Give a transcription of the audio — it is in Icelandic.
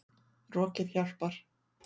Rokið hjálpar.